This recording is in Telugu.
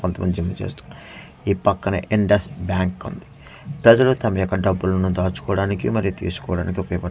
కొంత మంది జిమ్ చేస్తూ ఈ పక్కనే ఇండస్ బ్యాంక్ ఉంది ప్రజలు తమాయొక్క డబ్బులును దాచుకోవడానికి మరియు తీసుకోవడానికి ఉపయోగ పడుతుందిబయట ఓ--